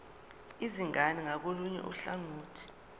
izingane ngakolunye uhlangothi